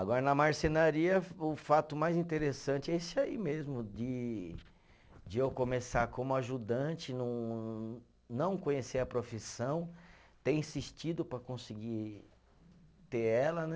Agora, na marcenaria, o fato mais interessante é esse aí mesmo, de de eu começar como ajudante, não não conhecer a profissão, ter insistido para conseguir ter ela, né?